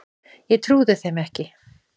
Ég trúði þeim ekki.